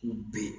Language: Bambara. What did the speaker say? K'u ben